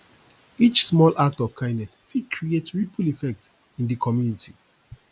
each small act of kindness fit create ripple effect in di community